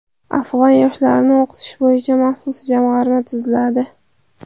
Afg‘on yoshlarini o‘qitish bo‘yicha maxsus jamg‘arma tuziladi.